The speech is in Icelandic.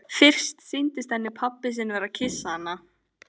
Fyrst sýndist henni pabbi sinn vera að kyssa hana.